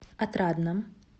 отрадном